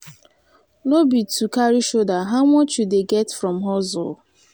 no be to carry shoulder how much you dey get from hustle?